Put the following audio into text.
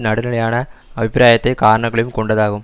நடுநிலையான அபிப்பிராயத்தை காரணங்களையும் கொண்டதாகும்